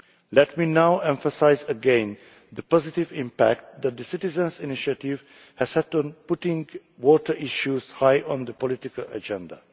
Let me now emphasise again the positive impact the Citizens' Initiative has had on putting water issues high on the political agenda.